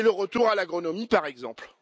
c'est le retour à l'agronomie, par exemple.